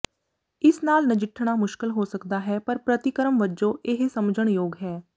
ਇਸ ਨਾਲ ਨਜਿੱਠਣਾ ਮੁਸ਼ਕਲ ਹੋ ਸਕਦਾ ਹੈ ਪਰ ਪ੍ਰਤੀਕਰਮ ਵਜੋਂ ਇਹ ਸਮਝਣ ਯੋਗ ਹੈ